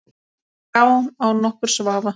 Já, án nokkurs vafa.